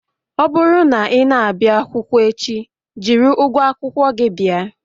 Ọ bụrụ na ị na-abịa akwụkwọ echi, jiri ụgwọ akwụkwọ gị bịa